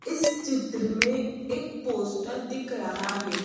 इस चित्र में एक पोस्टर दिख रहा है।